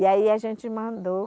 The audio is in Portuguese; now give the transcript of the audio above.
E aí a gente mandou.